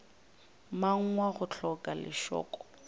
mang wa go hloka lešoko